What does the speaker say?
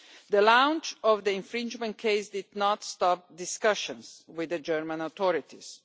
The launch of the infringement case did not stop discussions with the German authorities.